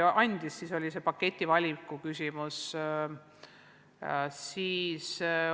Üldjuhul oli see paketi valiku küsimus.